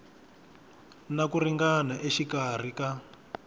na ku ringana exikarhi ka